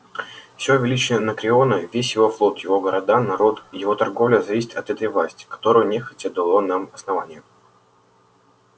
всё величие анакреона весь его флот его города народ его торговля зависит от этой власти которую нехотя дало нам основание